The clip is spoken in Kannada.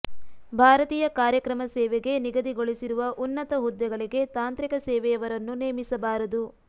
ಭಾರತೀಯ ಕಾರ್ಯಕ್ರಮ ಸೇವೆಗೆ ನಿಗದಿಗೊಳಿಸಿರುವ ಉನ್ನತ ಹುದ್ದೆಗಳಿಗೆ ತಾಂತ್ರಿಕ ಸೇವೆಯವರನ್ನು ನೇಮಿಸಬಾರದು